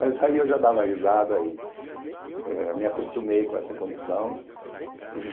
Mas aí eu já dava risada aí eh me acostumei com essa condição.